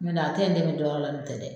Nɔntɛ a tɛ n dɛmɛ dɔ wɛrɛ la n'o tɛ dɛ